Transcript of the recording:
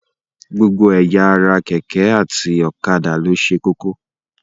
Gbogbo ẹ̀yà ara kk àti ọ̀kadà ló ṣe kókó.